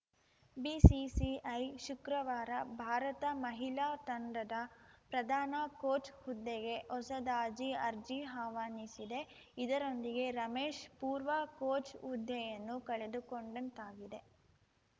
BCCI ಶುಕ್ರವಾರ ಭಾರತ ಮಹಿಳಾ ತಂಡದ ಪ್ರಧಾನ ಕೋಚ್‌ ಹುದ್ದೆಗೆ ಹೊಸದಾಜಿ ಅರ್ಜಿ ಆಹ್ವಾನಿಸಿದೆ ಇದರೊಂದಿಗೆ ರಮೇಶ್‌ ಪೂರ್ವಾ ಕೋಚ್‌ ಹುದ್ದೆಯನ್ನು ಕಳೆದುಕೊಂಡಂತಾಗಿದೆ